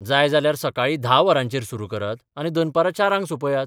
जाय जाल्यार सकाळीं धा वरांचेर सुरू करात आनी दनपरां चारांक सौंपयात.